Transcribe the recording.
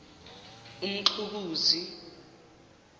umxukuzi